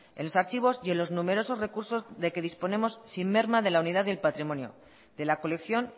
en los archivos y en los numerosos recursos de que disponemos sin merma de la unidad y el patrimonio de la colección